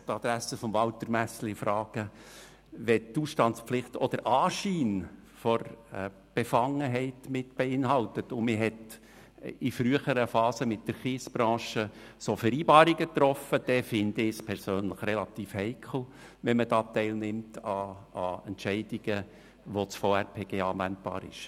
Nun möchte ich an die Adresse von Walter Messerli Folgendes sagen: Wenn die Ausstandspflicht auch den Anschein der Befangenheit beinhaltet und man in früheren Phasen mit der Kiesbranche Vereinbarungen getroffen hat, dann finde ich es persönlich relativ heikel, wenn man sich an Entscheidungen beteiligt, auf welche das VRPG anwendbar ist.